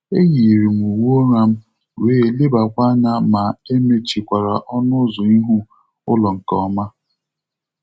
E yiiri m uwe ụra m, wee lebakwa anya ma emechikwara ọnụ ụzọ ihu ụlọ nke ọma.